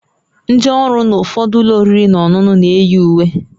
Ndị ọrụ na ụfọdụ ụlọ oriri na ọṅụṅụ na-eyi uwe